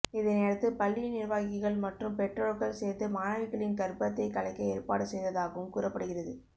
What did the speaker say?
இதனையடுத்து பள்ளி நிர்வாகிகள் மற்றும் பெற்றோர்கள் சேர்ந்து மாணவிகளின் கர்ப்பத்தை கலைக்க ஏற்பாடு செய்ததாகவும் கூறப்படுகிறது